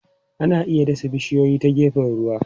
Ana iya dasa bishiyoyi ta gefen ruwa.